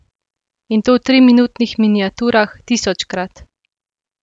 In to v triminutnih miniaturah, tisočkrat.